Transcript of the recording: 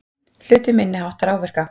Hlutu minniháttar áverka